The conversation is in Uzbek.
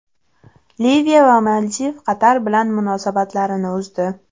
Liviya va Maldiv Qatar bilan munosabatlarini uzdi.